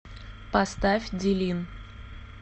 поставь дилин